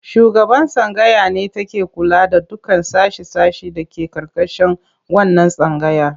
Shugaban tsangaya ne take kula da dukkan sashe-sashe da ke ƙarƙashin wannan tsangayar.